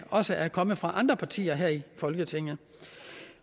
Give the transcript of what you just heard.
også er kommet fra andre partier her i folketinget